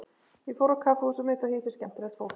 Ég fór á kaffihúsið mitt og hitti skemmtilegt fólk.